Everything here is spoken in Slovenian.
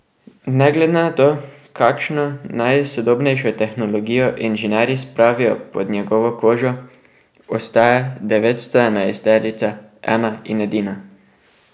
Ne glede na to, kakšno najsodobnejšo tehnologijo inženirji spravijo pod njegovo kožo, ostaja devetstoenajstica ena in edina.